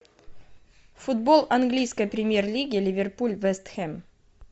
футбол английской премьер лиги ливерпуль вест хэм